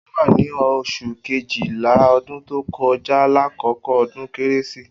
O wa ni osun Kejìlá ọdún tó kọ jà lakoko odun kérésí